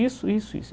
Isso, isso, isso.